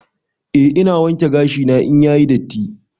Eh ina wanke gashi na in yayi datti.